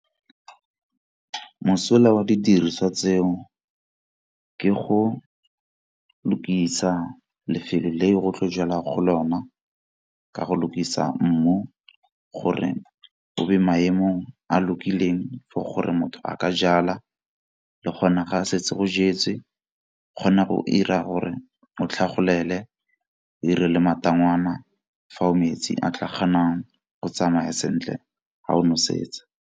Mosola wa didiriswa tseo ke go lokisa lefelo le go tlo jalwa go lona ka go lokisa mmu gore o be maemong a lokileng for gore motho a ka jala le kgona ga setse go jetse, kgona go 'ira gore o tlhagolele o dire le matangwana fa o metsi a tla kgonang go tsamaya sentle ga o nosetsa.